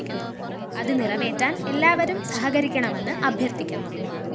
അത് നിറവേറ്റാൻ എല്ലാവരും സഹകരിക്കണമെന്ന് അഭ്യർത്ഥിക്കുന്നു